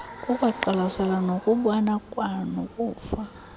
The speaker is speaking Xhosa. kukwaqwalaselwa nokubona kwanokuva